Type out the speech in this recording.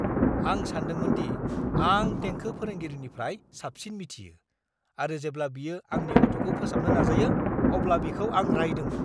आं सानदोंमोनदि आं देंखो फोरोंगिरिनिफ्राय साबसिन मिथियो आरो जेब्ला बियो आंनि गथ'खौ फोसाबनो नाजायो अब्ला बिखौ आं रायदोंमोन।